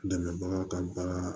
Dɛmɛbaga ka baga